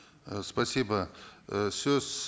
э спасибо ы сөз